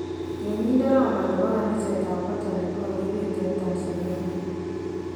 Tyenindet Roma nebo kanisetab katolik kokabeet en Tanzania